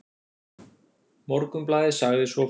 Morgunblaðið sagði svo frá